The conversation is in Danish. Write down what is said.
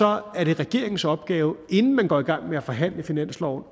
er det regeringens opgave inden man går i gang med at forhandle finansloven